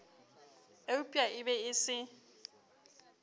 eupša e be e se